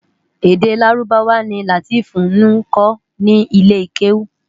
Èdè Lárúbáwá ni Lateef nkò ni ilé kéwú